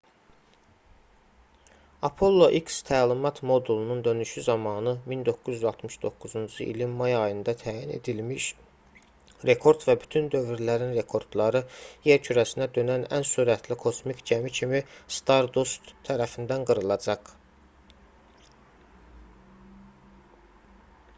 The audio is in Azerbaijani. apollo x təlimat modulunun dönüşü zamanı 1969-cu ilin may ayında təyin edilmiş rekord və bütün dövrlərin rekordları yer kürəsinə dönən ən sürətli kosmik gəmi kimi stardust tərəfindən qırılacaq